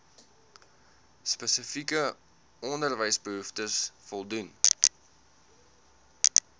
spesifieke onderwysbehoeftes voldoen